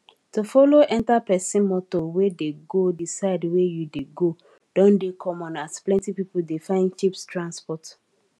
to follow enta pesin moto wey dey go di side wey you dey go don dey common as plenty pipo dey find cheap transport